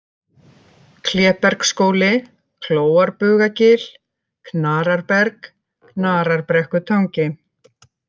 Klébergsskóli, Klóarbugagil, Knararberg, Knararbrekkutangi